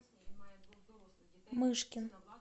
мышкин